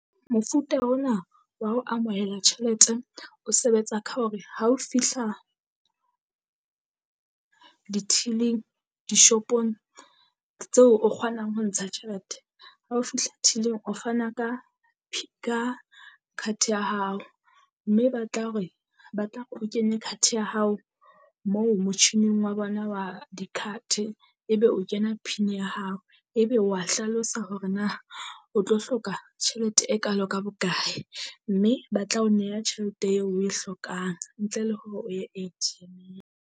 Mofuta ona wa ho amohela tjhelete o sebetsa ka hore ha o fihla di-till-ing dishopong tseo o kgonang ho ntsha tjhelete. Ha o fihla till-ing, o fana ka ka card ya hao mme e batla hore ba tla o kenye card ya hao moo motjhining wa bona wa di-card-e. Ebe o kena pin ya hao ebe wa hlalosa hore na o tlo hloka tjhelete e kalo ka bokae, mme ba tla o neha tjhelete eo oe hlokang ntle le hore o ye .